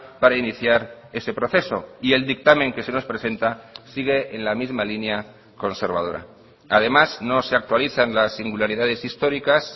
para iniciar ese proceso y el dictamen que se nos presenta sigue en la misma línea conservadora además no se actualizan las singularidades históricas